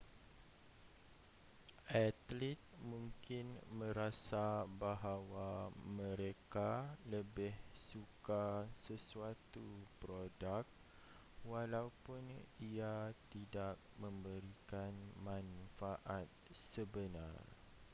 atlet mungkin merasa bahawa mereka lebih suka sesuatu produk walaupun ia tidak memberikan manfaat sebenar